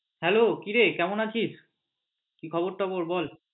hello কিরে কেমন আছিস? কি খবর টবর বল?